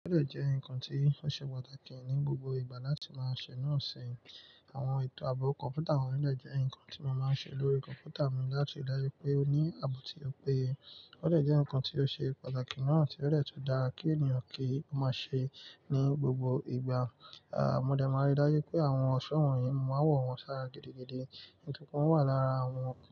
Eleyii jẹ́ nǹkan tí ó ṣe pàtàkì ní gbogbo ìgbà láti máa ṣe náà ṣi. Àwọn ètò àabo kọ̀mpútà wọ́n n ni ẹ́ nǹkan tí mo máa ń ṣe lórí kọ̀mpútà mi láti rí i dáju pé ó ní ààbò tí ó péye. O de jẹ́ nǹkan tí ó ṣe pàtàkì náà tí ó de tun dárá kí ènìyàn kí ó máa ṣe ní gbogbo ìgbà. À, mo dẹ máa rí i dáju pé àwọn ọ̀ṣọ́ wọ̀nyií mo maa n wọ̀ wọn sára gidigidi. Nítorípe wọ́n wà lára àwọn.